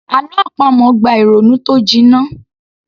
Àlọ́ àpamọ̀ gba ìrònú tó jiná